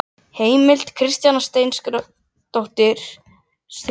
Heimild: Kristjana Steingrímsdóttir og Þórunn Pálsdóttir.